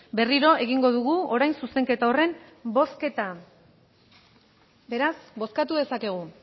berriro egingo dugu orain zuzenketa horren bozketa beraz bozkatu dezakegu